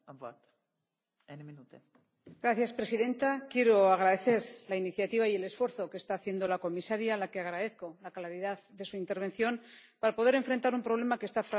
Señora presidenta, quiero agradecer la iniciativa y el esfuerzo que está haciendo la comisaria, a la que agradezco la claridad de su intervención para poder enfrentar un problema que está fragmentando el mercado interior.